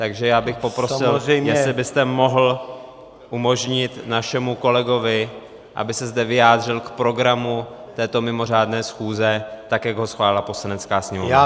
Takže já bych poprosil, jestli byste mohl umožnit našemu kolegovi, aby se zde vyjádřil k programu této mimořádné schůze, tak jak ho schválila Poslanecká sněmovna.